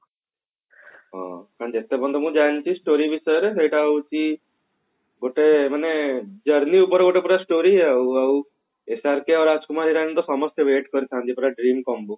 ହଁ ଜାଣିଛି story ବିଷୟରେ ସେଟା ହଉଛି ଗୋଟେ ମାନେ journey ଉପରେ ଗୋଟେ ପୁରା story ଆଉ ଆଉ SRK ରାଜକୁମାର ଇରାନୀ ତ ସମସ୍ତେ wait କରିଥାନ୍ତି ପୁରା dream combo